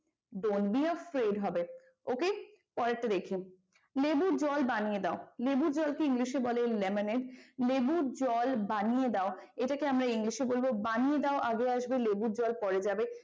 don't be afraid হবে okay? পরেরটা দেখি লেবু জল বানিয়ে দাও। লেবু জলকে english এ বলে lemonaid লেবু জল বানিয়ে দাও এটাকে আমরা english এ বলবো বানিয়ে দাও আগে আসবে লেবু জল পরে যাবে।